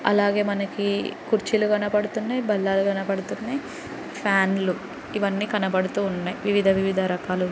అలాగే మనకు కుర్చీలు కనపడుతున్నాయి బల్లలు కనపడుతున్నాయి ఫ్యాన్లు ఇవి అని కనపడుతున్నాయి వివిధ రకాలు.